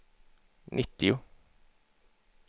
nittio